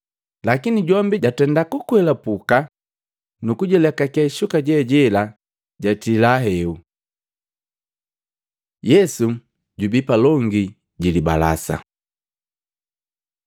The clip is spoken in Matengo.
Lakini jombi jatenda kukwelapuka nukulekake shuka jejela jatila heu. Yesu jubii palongi jilibalasa Matei 26:57-68; Luka 22:54-55, 63-71; Yohana 18:13-14, 19-24